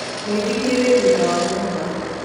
Mũithikiri wi thutha wa nyũmba